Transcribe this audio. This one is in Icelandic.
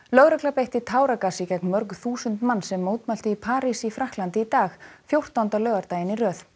lögregla beitti táragasi gegn mörg þúsund manns sem mótmæltu í París í Frakklandi í dag fjórtánda laugardaginn í röð